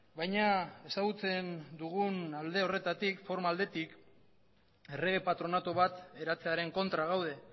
baina ezagutzen dugun alde horretatik forma aldetik errege patronatu bat eratzearen kontra gaude